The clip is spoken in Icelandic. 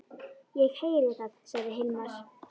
Ég heyri það, sagði Hilmar.